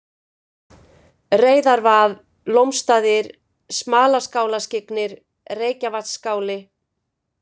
Reyðarvað, Lómstaðir, Smalaskálaskyggnir, Reykjavatnsskáli